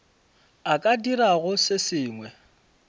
a ka dirago se sengwe